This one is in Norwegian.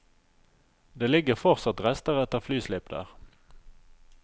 Det ligger fortsatt rester etter flyslipp der.